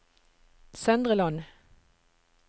Søndre Land